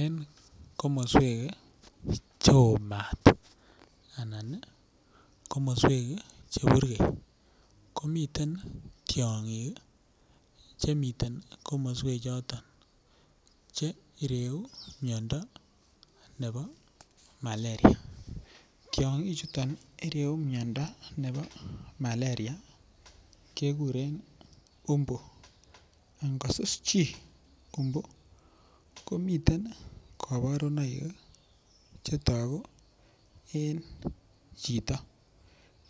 En komaswek che oo maat anan komaswek che purgei. Ko miten tiang'ik che miten komaswechoton che ireu mindo nepo Malaria. Tiang'chuton ireu miondo nepo Malaria kekuren mbu. Angosus chi mbu komiten kaparunoik che tagu en chito,